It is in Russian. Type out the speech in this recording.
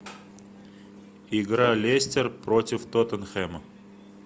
игра лестер против тоттенхэма